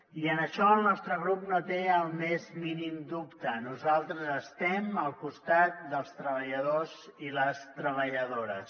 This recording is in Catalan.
i en això el nostre grup no té el més mínim dubte nosaltres estem al costat dels treballadors i les treballadores